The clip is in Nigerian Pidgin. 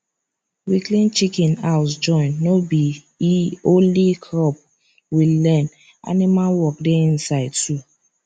we clean chicken house join no b e only crop we learn animal work dey inside too